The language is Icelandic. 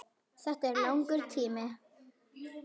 Þetta er langur tími.